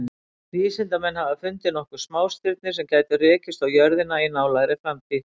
Vísindamenn hafa fundið nokkur smástirni sem gætu rekist á jörðina í nálægri framtíð.